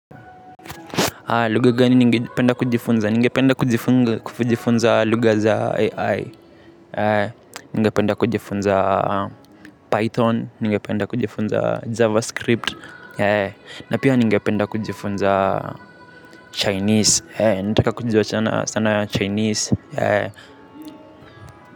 Lugha gani ningependa kujifunza? Ningependa kujifunza lugha za AI, ningependa kujifunza Python, ningependa kujifunza Javascript, na pia ningependa kujifunza Chinese, ninataka kujua sana Chinese.